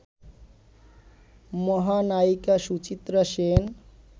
মহানায়িকা Suchitra Sen